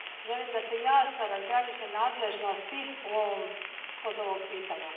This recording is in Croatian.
Želim da se jasno razgraniče nadležnosti kod ovog pitanja.